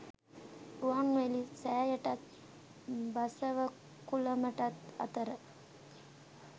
රුවන්වැලි සෑයටත් බසවක්කුළමටත් අතර